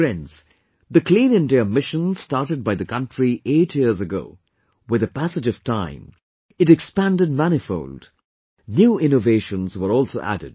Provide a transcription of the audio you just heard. Friends, the 'Clean India Mission' started by the country eight years ago, with the passage of time, it expanded manifold... new innovations were also added